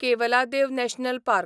Keoladeo national park